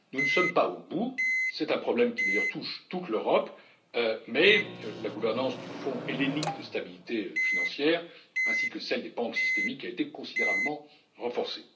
Nous ne sommes pas au bout, c'est un problème qui d'ailleurs touche toute l'Europe, mais la gouvernance du Fonds hellénique de stabilité financière, ainsi que celle des banques systémiques a été considérablement renforcée.